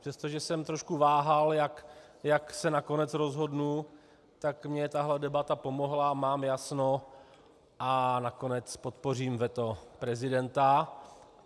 Přestože jsem trošku váhal, jak se nakonec rozhodnu, tak mně tahle debata pomohla, mám jasno a nakonec podpořím veto prezidenta.